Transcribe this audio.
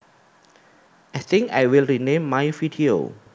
I think I will rename my video